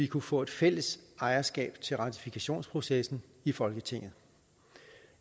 kunne få et fælles ejerskab til ratifikationsprocessen i folketinget